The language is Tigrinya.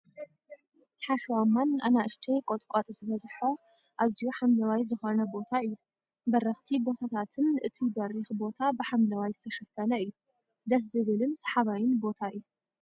ሓሸዋማን ኣናእሽተይ ቆጥቃጥ ዝበዝሖ ኣዝዩ ሓምለዋይ ዝኮነ ቦታ እዩ። በረክቲ ቦታትን እቱይ በሪክ ቦታ ብሓምለዋይ ዝተሸፈነ እዩ። ደስ ዝብል ስሓባይን ቦታ እዩ።